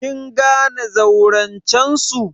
Kin gane zaurancen su?